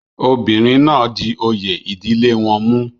obìnrin náà di oyè ìdílé wọn mú